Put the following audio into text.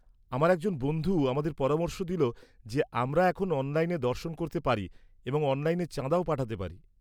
-আমার একজন বন্ধু আমাদের পরামর্শ দিল যে আমরা এখন অনলাইনে দর্শন করতে পারি এবং অনলাইনে চাঁদাও পাঠাতে পারি।